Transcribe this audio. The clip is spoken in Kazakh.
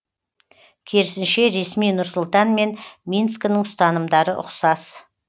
керісінше ресми нұр сұлтан мен минскінің ұстанымдары ұқсас